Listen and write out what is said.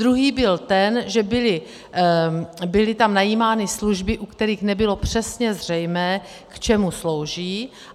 Druhý byl ten, že tam byly najímány služby, u kterých nebylo přesně zřejmé, k čemu slouží.